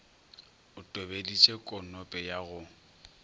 o tobeditše konope ya go